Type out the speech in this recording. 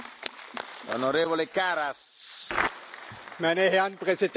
Meine Herren Präsidenten, Frau Ratspräsidentin, Herr Ministerpräsident!